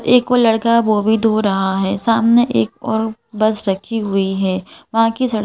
एक वो लड़का वो अभी धो रहा है। सामने एक और बस रखी हुई है। वहां की सड़क--